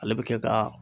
Ale bɛ kɛ ka